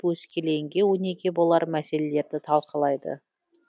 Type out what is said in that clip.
өскелеңге өнеге болар мәселелерді талқылайды